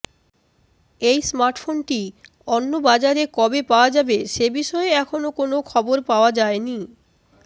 এই স্মার্টফোনটি অন্যন্য বাজারে কবে পাওয়া যাবে সে বিষয়ে এখনও কোন খবর পাওয়া যায়নি